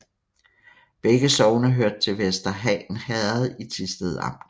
Begge sogne hørte til Vester Han Herred i Thisted Amt